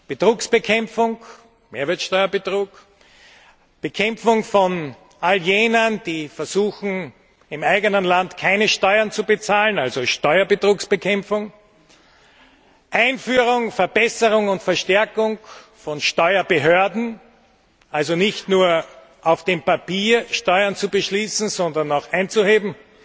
Betrugsbekämpfung Mehrwertsteuerbetrug Bekämpfung von all jenen, die versuchen im eigenen Land keine Steuern zu bezahlen also Steuerbetrugsbekämpfung Einführung, Verbesserung und Verstärkung von Steuerbehörden also nicht nur auf dem Papier Steuern zu beschließen, sondern sie auch einzuheben